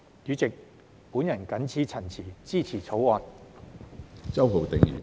主席，我謹此陳辭，支持《條例草案》。